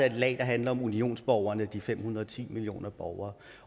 et lag der handler om unionsborgerne de fem hundrede og ti millioner borgere